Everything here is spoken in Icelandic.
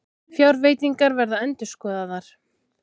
Fjárveitingar verða endurskoðaðar